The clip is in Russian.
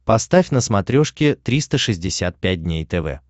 поставь на смотрешке триста шестьдесят пять дней тв